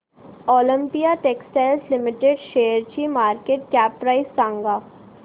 Olympia textiles limited शेअरची market cap price सांगा